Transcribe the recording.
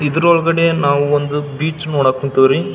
ಇದ್ರೊಳಗಡೆ ನಾವು ಒಂದು ಬೀಚ್ ನೋಡಕ್ ಕುಂತ್ವ್ ರೀ .